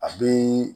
A bɛ